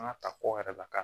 An ka ta kɔ yɛrɛ la ka